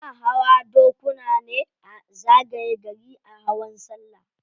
Ana hawa dokuna ne a zagaye gari a hawan sallah.